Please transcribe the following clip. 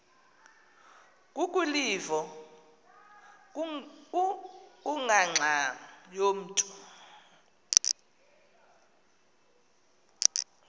kukwilivo kungangxam yamntu